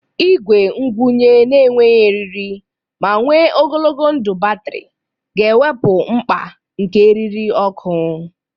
Igwe ngwunye na-enweghị eriri ma nwe ogologo ndụ batrị ga-ewepụ mkpa nke eriri ọkụ.